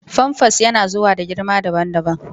famfas yana zuwa da girma daban-daban.